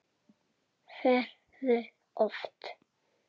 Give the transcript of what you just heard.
Hversu oft?